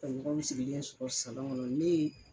Ka ɲɔgɔnw sigilen sɔrɔ salɔn kɔnɔ nee.